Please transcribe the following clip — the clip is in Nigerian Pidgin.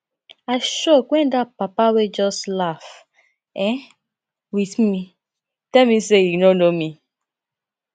i shock wen dat papa wey just laugh um with me tell me say he no know me